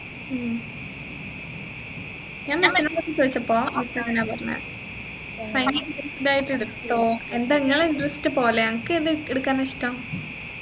ഉം ഞാൻ മറ്റുള്ളോർഡ് ചോദിച്ചപ്പോ അവർ അങ്ങനെയാ പറഞ്ഞെ science based ആയിട്ട് എടുത്തോ എന്താ ഇങ്ങളെ interest പോലെ അൻക്ക് ഏതാ എടുക്കാൻ ഇഷ്ടം